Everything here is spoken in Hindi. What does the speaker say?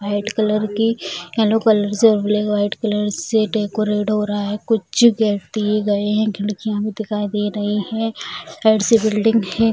व्हाइट कलर की येलो कलर से ब्लैक व्हाइट कलर से डेकोरेट हो रहा है कुछ व्यक्ति गए हैं खिड़कियां दिखाई दे रहे हैं साइड से बिल्डिंग है।